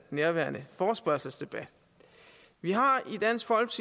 nærværende forespørgsel vi har